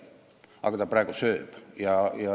Aga praegu see nii on.